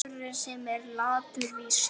Maður, sem er latur víst.